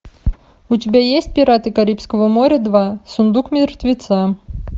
у тебя есть пираты карибского моря два сундук мертвеца